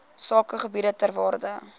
sakegebiede ter waarde